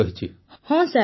ପୁନମ ନୌଟିଆଲ ହଁ ସାର୍